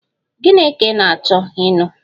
Gịnị ka ị ga-achọ ịṅụ?